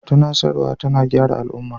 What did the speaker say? Tunasarwa tana gyara al'umma.